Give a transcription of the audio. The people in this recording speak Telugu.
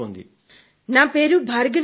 నా పేరు భార్గవి కానడే